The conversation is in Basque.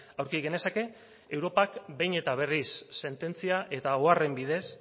aurki genezake europak behin eta berriz sententzia eta oharren bidez